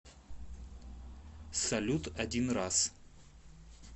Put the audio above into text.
салют один раз